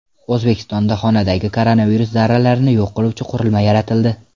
O‘zbekistonda xonadagi koronavirus zarralarini yo‘q qiluvchi qurilma yaratildi.